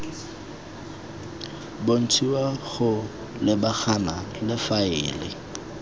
bontshiwa go lebagana le faele